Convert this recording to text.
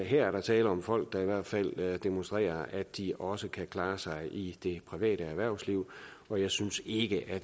er der tale om folk der i hvert fald demonstrerer at de også kan klare sig i det private erhvervsliv og jeg synes ikke at